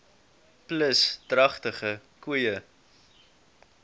plus dragtige koeie